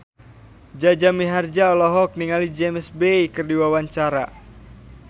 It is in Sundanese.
Jaja Mihardja olohok ningali James Bay keur diwawancara